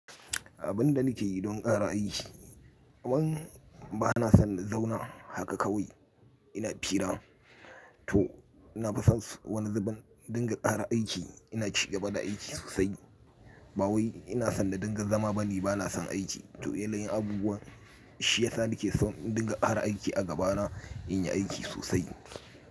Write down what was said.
Abin da nake yi don ƙara aiki, ban ba na son na zauna haka kawai ina fira. Toh na fison wani zubin indinga ƙara aiki, ina ci gaba da aiki sosai. Ba wai ina son na dinga zama bane, ba na son aiki. Toh yanayin abubuwa shi ya sa nake son in dinga ƙara aiki a gabana, in yi aiki sosai.